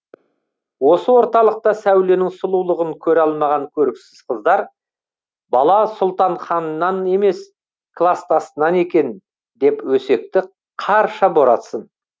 осы орталықта сәуленің сұлулығын көре алмаған көріксіз қыздар бала сұлтанханнан емес кластасынан екен деп өсекті қарша боратсын